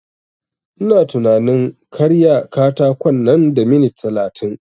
Ina tunanin karya katakon nan da minit talatin